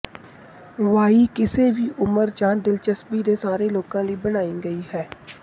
Y ਕਿਸੇ ਵੀ ਉਮਰ ਜਾਂ ਦਿਲਚਸਪੀ ਦੇ ਸਾਰੇ ਲੋਕਾਂ ਲਈ ਬਣਾਈ ਗਈ ਸੀ